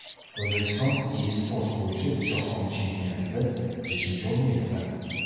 O‘zbekiston e-sport bo‘yicha Jahon chempionatida beshinchi o‘rinni egalladi.